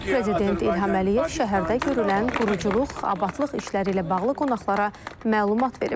Prezident İlham Əliyev şəhərdə görülən quruculuq, abadlıq işləri ilə bağlı qonaqlara məlumat verib.